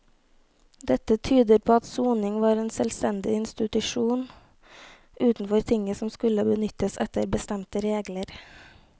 Dette tyder på at soning var en selvstendig institusjon utenfor tinget som skulle benyttes etter bestemte regler.